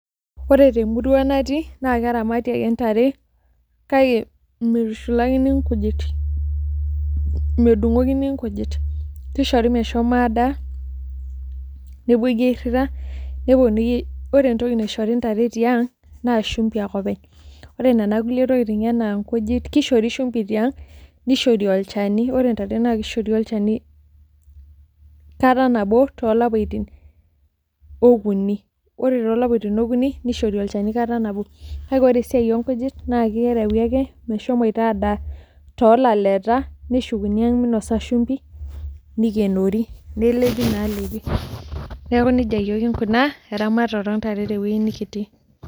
Ore temurua natii na keramati ake ntare kake mitushulakini nkujit, medungokini nkujit, kishori meshomo adaa nepuoi airira ,ore entoki naishori ntare tiang naa shumbi ake openy, ore nona kulie tokitin anaa nkujit kishori shumbi tiang nishori olchani, ore ntare nakishori olchani kata nabo tolapaitin okuni, ore tolapaitin okuni nishori olchani enkata nabo, kake ore esiai onkujit na kerewi ake meshomo ita adaa tolaleta neshukuni aang meinasa shumbi nikenori, nelepi nalepi nikenori, neaku nejia yiol kinkuna eramatare ontare tewoi nikitii.